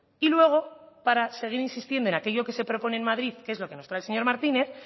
y luego para seguir insistiendo en aquello que se propone en madrid que es lo que nos trae el señor martínez